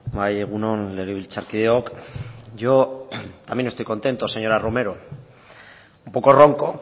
bai egun on legebiltzarkideok yo también estoy contento señora romero un poco ronco